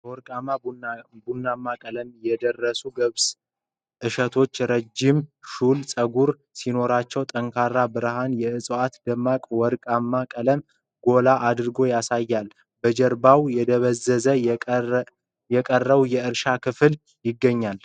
በወርቃማ ቡናማ ቀለም የደረሱ የገብስ ። እሸቶቹ ረዥም ሹል ጸጉር ሲኖራቸው፣ ጠንካራ ብርሃን የዕፅዋቱን ደማቅ ወርቃማ ቀለም ጎላ አድርጎ ያሳያል። በጀርባው የደበዘዘው የቀረው የእርሻው ክፍል ይገኛል።